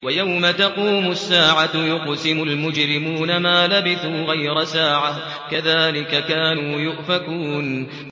وَيَوْمَ تَقُومُ السَّاعَةُ يُقْسِمُ الْمُجْرِمُونَ مَا لَبِثُوا غَيْرَ سَاعَةٍ ۚ كَذَٰلِكَ كَانُوا يُؤْفَكُونَ